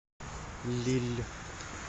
лилль